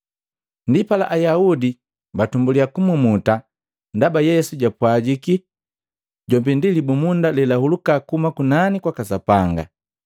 Ndipala Ayaudi batumbuliya kumumuta ndaba Yesu japwajiki, “Jombi ndi libumunda lelahuluka kuhuma kunani kwaka Sapanga.”